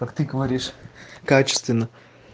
как ты говоришь качественно